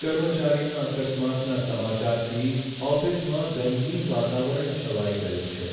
કર્મચારીના અકસ્માતના સમાચારથી ઓફિસમાં ગમગીન વાતાવરણ છવાઈ ગયું છે.